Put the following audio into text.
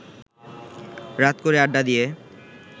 রাত করে আড্ডা দিয়ে